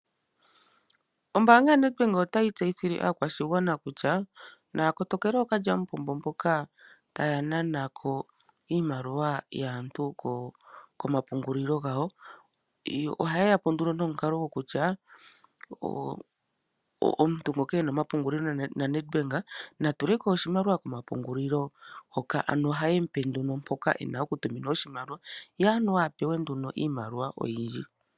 Ombaanga yaNedbank otayi tseyithile aakwashigwana kutya naya kotokele ookalyamupombo mboka taya nana ko iimaliwa yaantu komapungulilo gawo. Ohaye ya po nduno nomukalo kutya omuntu ngoka e na omapungulilo naNedbank na tule ko oshimaliwa komapungulilo hoka, ohaye mu pe mpoka e na okutumina oshimaliwa, ye a pewe anuwa iimaliwa oyindji.